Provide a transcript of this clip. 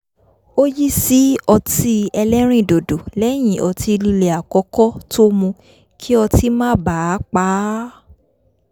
ó yí sí ọtí ẹlẹ́rìn dòdò lẹ́yìn ọtí líle àkọ́kọ́ tó mu kí otí má baà pa á